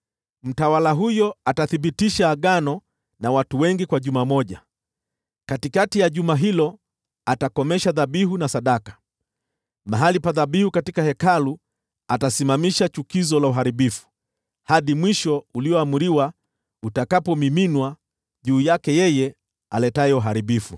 Mtawala huyo atathibitisha agano na watu wengi kwa juma moja. Katikati ya juma hilo atakomesha dhabihu na sadaka. Mahali pa dhabihu katika Hekalu atasimamisha chukizo la uharibifu, hadi mwisho ulioamriwa utakapomiminwa juu yake yeye aletaye uharibifu.”